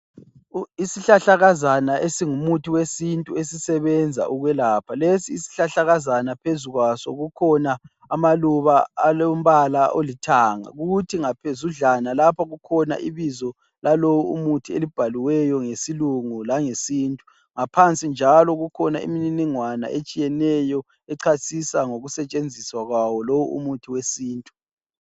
Isihlahlakazana esingumuthi wesintu ,esisebenza ukwelapha. Lesi isihlahlakazana phezu kwaso kukhona amaluba alombala olithanga. Kuthi ngaphezudlwana lapha kukhona ibizo lalowu umuthi elibhaliweyo ngesilungu langesintu. Ngaphansi njalo kukhona imininingwana etshiyeneyo ecasisa ngokusetshenziswa kwawo lowu umuthi wesintu.